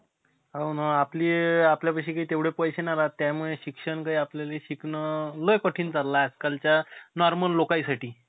त पठाण movie चा, Pathaan movie आला, पठाण movie आली. त्या पहिल्या आल्या अं पहिलेचं दिवस,